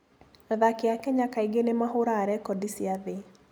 Athaki a Kenya kaingĩ nĩ mahũraga rekondi cia thĩ.